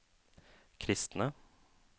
kristne